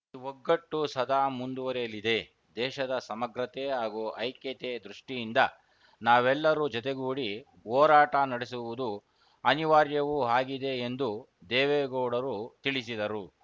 ಈ ಒಗ್ಗಟ್ಟು ಸದಾ ಮುಂದುವರಿಯಲಿದೆ ದೇಶದ ಸಮಗ್ರತೆ ಹಾಗೂ ಐಕ್ಯತೆ ದೃಷ್ಟಿಯಿಂದ ನಾವೆಲ್ಲರೂ ಜೊತೆಗೂಡಿ ಓರಾಟ ನಡೆಸುವುದು ಅನಿವಾರ್ಯವೂ ಹಾಗಿದೆ ಎಂದು ದೇವೇಗೌಡರು ತಿಳಿಸಿದರು